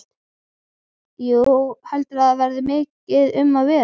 Jú, heldurðu að það verði mikið um að vera?